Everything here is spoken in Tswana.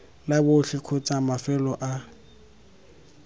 la botlhe kgotsa mafelo a